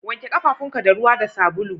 Wanke kafafunka da ruwa da sabulu